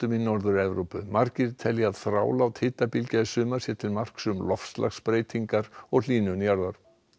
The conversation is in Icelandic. í Norður Evrópu margir telja að þrálát hitabylgja í sumar sé til marks um loftslagsbreytingar og hlýnun jarðar